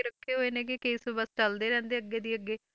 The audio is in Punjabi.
ਰੱਖੇ ਹੋਏ ਨੇ ਗੇ case ਬਸ ਚੱਲਦੇ ਰਹਿੰਦੇ ਅੱਗੇ ਦੀ ਅੱਗੇ